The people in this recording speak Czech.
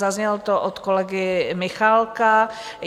Zaznělo to od kolegy Michálka.